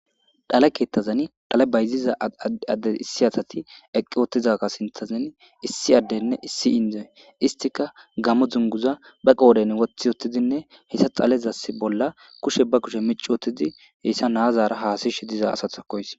Dhale kethazan dhale bayziza Adey issi asaz eqi utidaga sinthazani issi adeynne issi Indoy istika gamo dunguza ba qodhen wothi utidinne dhalezas bolla kushe ba kushe mici utidi heysa nazara hasa'ishe diza asazako haysi .